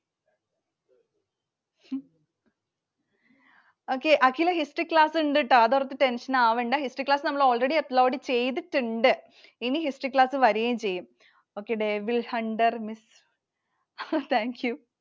Okay. Akhila History class ഉണ്ട് ട്ടോ. അതോർത്തു tension ആവണ്ട. History class നമ്മൾ already upload ചെയ്‌തിട്ടുണ്ട്‌. ഇനി History class വരുകയും ചെയ്യും. Okay. Devilhunter Miss Thank you.